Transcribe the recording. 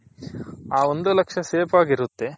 ಹ ಒಂದು ಲಕ್ಷ safe ಆಗಿ ಇರುತ್ತೆ.